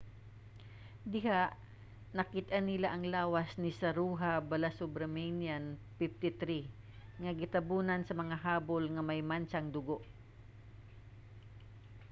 diha nakit-an nila ang lawas ni saroja balasubramanian 53 nga gitabonan sa mga habol nga may mantsang dugo